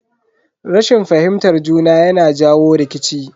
Rashin fahimtar juna yana jawo rikici.